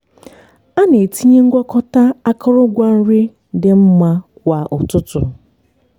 a na-etinye ngwakọta akụrụngwa nri dị mmma kwa ụtụtụ.